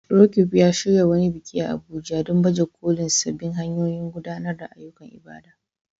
Roqeeb ya shirya wani biki a Abuja don baje kolin sabbin hanyoyin gudanar da ayyukan ibada.